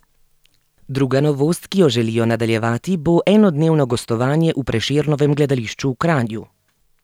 Druga novost, ki jo želijo nadaljevati, bo enodnevno gostovanje v Prešernovem gledališču v Kranju.